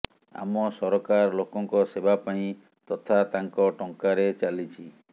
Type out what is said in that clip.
ଆମ ସରକାର ଲୋକଙ୍କ ସେବା ପାଇଁ ତଥା ତାଙ୍କ ଟଙ୍କାରେ ଚାଲିଛି